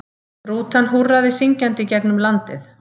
Rútan húrraði syngjandi gegnum landið.